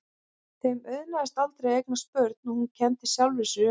Þeim auðnaðist aldrei að eignast börn og hún kenndi sjálfri sér um.